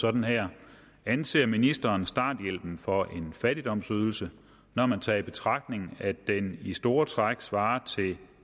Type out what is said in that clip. sådan her anser ministeren starthjælpen for en fattigdomsydelse når man tager i betragtning at den i store træk svarer til